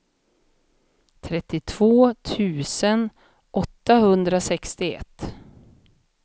trettiotvå tusen åttahundrasextioett